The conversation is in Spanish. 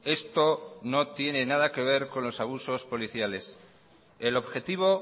esto no tiene nada que ver con los abusos policiales el objetivo